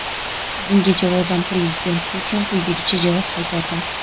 Bunga javoban Prezident Putin quyidagicha javob qaytardi:.